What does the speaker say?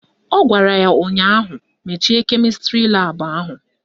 Ọ gwara ya ụnyaahụ "Mechie kemịstrị laabụ ahụ"!